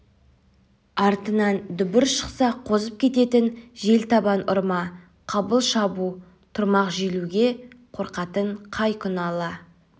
артынан дүбір шықса қозып кететін жел табан ұрма қабыл шабу тұрмақ желуге қорқатын қай күні ала